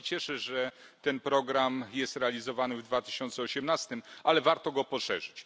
Bardzo się cieszę, że ten program jest realizowany w 2018 r., ale warto go poszerzyć.